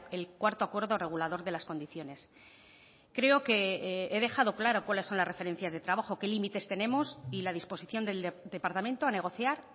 el cuarto acuerdo regulador de las condiciones creo que he dejado claro cuáles son las referencias de trabajo qué límites tenemos y la disposición del departamento a negociar